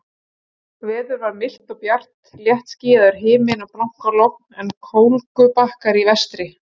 Veður var milt og bjart, léttskýjaður himinn og blankalogn, en kólgubakkar í vestri.